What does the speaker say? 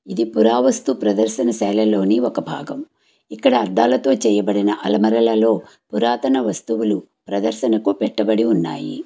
ఇది పురావస్తు ప్రదర్శనశాల లోని ఒక భాగం ఇక్కడ అద్దాలతో చెయ్యబడిన అల్మార లలో పురాతన వస్తువులు ప్రదర్శన కు పెట్టబడి ఉన్నాయి.